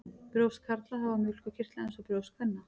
Brjóst karla hafa mjólkurkirtla eins og brjóst kvenna.